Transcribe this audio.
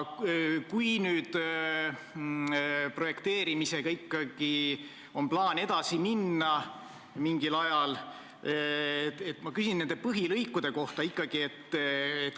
Kui nüüd on plaan projekteerimisega mingil ajal edasi minna, siis ma küsin ikkagi nende põhilõikude kohta.